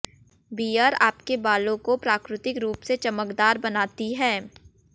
beer आपके बालों को प्राकृतिक रुप से चमकदार बनाती है